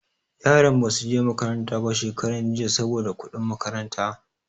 Yaran ba su je makaranta ba shekaran jiya saboda kuɗin makaranta.